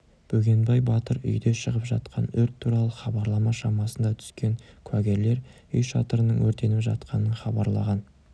бөгенбай батыр үйде шығып жатқан өрт туралы хабарлама шамасында түскен куәгерлер үй шатырының өртеніп жатқанын хабарлаған